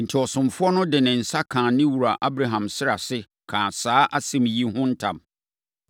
Enti, ɔsomfoɔ no de ne nsa kaa ne wura Abraham srɛ ase, kaa saa asɛm yi ho ntam.